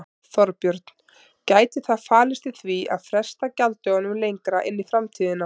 Þorbjörn: Gæti það falist í því að fresta gjalddögunum lengra inn í framtíðina?